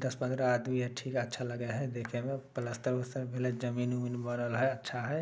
दस-पंद्रह आदमी अच्छे है। अच्छा लगे हेय देखे में । प्लस्टर -उलस्तर करल हय। जमीन-उमीन है अच्छा है।